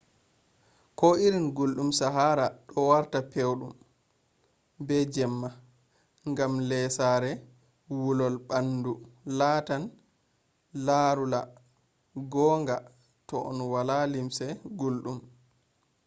ko irin gulɗun sahara do warta pewɗon be jamma. ngam lesare wulol ɓaandu latan larula gonga to on wala limse gulɗum